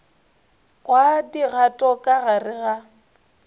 kwa dikgato ka gare ga